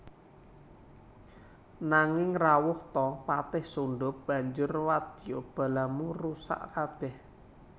Nanging rawuh ta patih Sundha banjur wadya balamu rusak kabèh